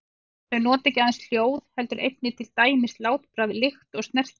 Þau nota ekki aðeins hljóð heldur einnig til dæmis látbragð, lykt eða snertingu.